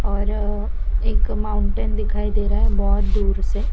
और एक माऊटेन दिखाई दे रहा है बोहोत दुर से --